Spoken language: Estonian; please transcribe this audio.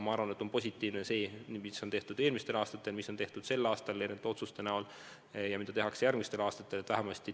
Aga see, mis on tehtud eelmistel aastatel, mis on tehtud sel aastal nende otsuste näol, ja mida tehakse järgmistel aastatel, on minu arvates positiivne.